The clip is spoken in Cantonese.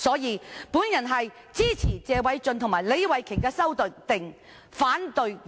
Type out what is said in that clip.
有見及此，我支持謝偉俊議員和李慧琼議員的修正案，反對原議案。